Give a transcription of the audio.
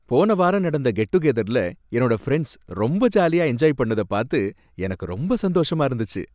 போன வாரம் நடந்த கெட் டு கெதர்ல என்னோட ஃபிரண்ட்ஸ் ரொம்ப ஜாலியா என்ஜாய் பண்ணத பாத்து எனக்கு ரொம்ப சந்தோஷமா இருந்துச்சி.